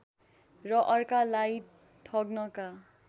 र अर्कालाई ठग्नका